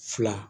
Fila